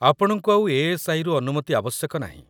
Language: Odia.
ଆପଣଙ୍କୁ ଆଉ ଏ.ଏସ୍.ଆଇ.ରୁ ଅନୁମତି ଆବଶ୍ୟକ ନାହିଁ।